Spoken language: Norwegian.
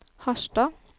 Harstad